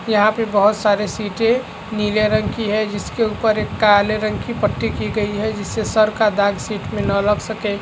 यहाँ पे बहुत सारे सीटे नीले रंग की है जिसके ऊपर एक काले रंग की पट्टी की गई है जिससे सर का दाग सिट मे ना लग सके--